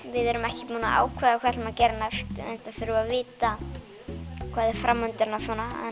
við erum ekki búin að ákveða hvað við ætlum að gera næst enda þurfum við að vita hvað er framundan og svona